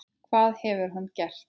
Hvað hefur hann gert?